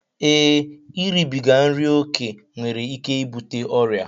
Ee, iribiga nri ókè nwere ike ibute ọrịa